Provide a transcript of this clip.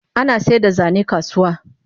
Ana saida zane a kasuwa